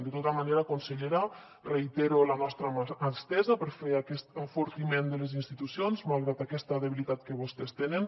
de tota manera consellera reitero la nostra mà estesa per fer aquest enfortiment de les institucions malgrat aquesta debilitat que vostès tenen